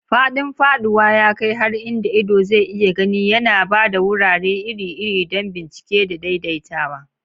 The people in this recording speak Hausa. Faɗin faɗuwa ya kai har inda ido zai iya gani, yana ba da wurare iri-iri don bincike da daidaitawa.